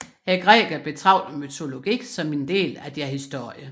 Grækerne betragtes mytologi som en del af deres historie